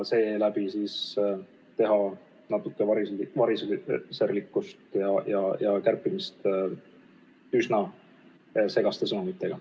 Tundub, et tehakse variserlikku kärpimist üsna segaste sõnumitega.